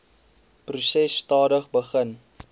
proses stadig begin